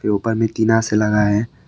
ऊपर में टिना से लगा है।